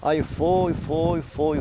Aí foi, foi, foi,